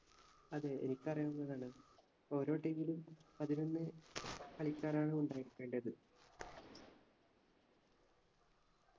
അതെ എനിക്കറിയാവുന്നതാണ് ഓരോ team ലും പതിനൊന്ന് കളിക്കാരാണ് ഉണ്ടായിരിക്കേണ്ടത്